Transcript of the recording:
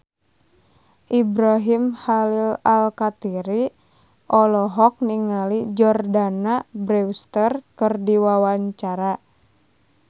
Ibrahim Khalil Alkatiri olohok ningali Jordana Brewster keur diwawancara